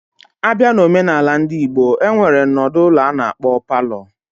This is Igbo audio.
Abia na Ọmenala ndị Igbo, enwere nọdụ ụlọ ana-akpo parlour.